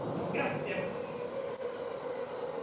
Ritengo che in questo dobbiamo invertire la rotta.